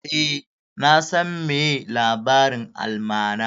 Eh, na san meye labarin almara